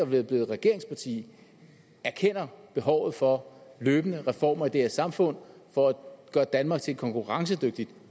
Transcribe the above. blevet et regeringsparti erkender behovet for løbende reformer af det her samfund for at gøre danmark til et konkurrencedygtigt